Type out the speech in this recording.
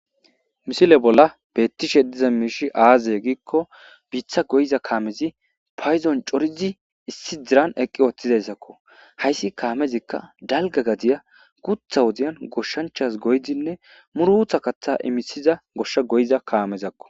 Misile bolan betishe diza miishay aze giza gidiko biita goyiza kaamezi paydo coridi issi diran eqi wothizaysako haysi kaamezika dalga gadiya guutha wodiyan goshanchas goyidine muruta katha imisiza gosha goyiza kaamezako.